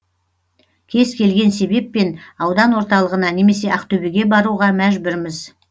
кез келген себеппен аудан орталығына немесе ақтөбеге баруға мәжбүрміз